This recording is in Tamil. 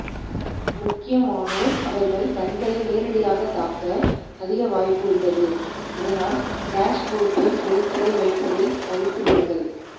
முக்கியமானர் அவர்கள் கண்களை நேரடியாக தாக்க அதிக வாய்ப்பு உள்ளது இதனால் டேஷ் போர்டில் பொருட்களை வைப்பதை தவிர்த்து விடுங்கள்